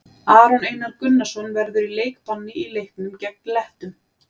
Aron Einar Gunnarsson verður í leikbanni í leiknum gegn Lettum.